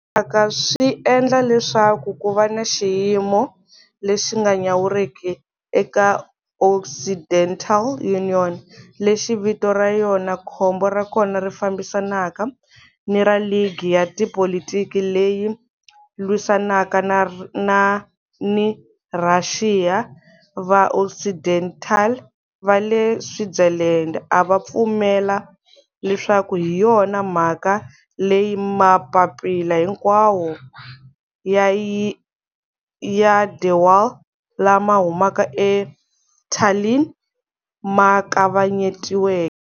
Vuxaka swi endle leswaku ku va ni xiyimo lexi nga nyawuriki eka Occidental-Union, lexi vito ra yona khombo ra kona ri fambisanaka ni ra ligi ya tipolitiki leyi lwisanaka ni Rhaxiya, va-Occidental va le Switzerland a va pfumela leswaku hi yona mhaka leyi mapapila hinkwawo ya de Wahl lama humaka eTallinn ma kavanyetiweke.